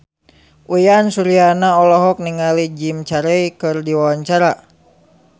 Uyan Suryana olohok ningali Jim Carey keur diwawancara